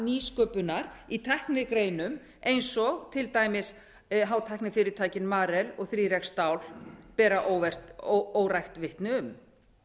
nýsköpunar í tæknigreinum eins og til dæmis hátæknifyrirtækin marel og þrjá x stál ber órækt vitni um